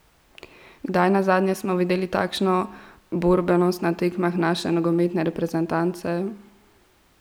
Kdaj nazadnje smo videli takšno borbenost na tekmah naše nogometne reprezentance?